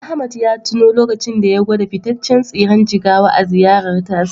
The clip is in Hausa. Ahmed ya tuno lokacin da ya gwada fitaccen tsiren jigawa a ziyarar tasa.